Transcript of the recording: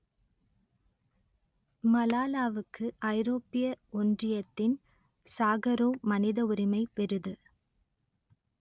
மலாலாவுக்கு ஐரோப்பிய ஒன்றியத்தின் சாகரோவ் மனித உரிமை விருது